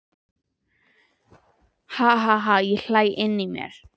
Ha ha ha ég hlæ inní mér.